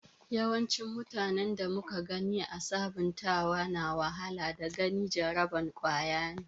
yawancin mutane da muka gani ã sabuntawa na wahala daga wani jaraban kwaya ne.